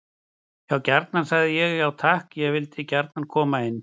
Já gjarnan, sagði ég: Já takk, ég vil gjarnan koma inn.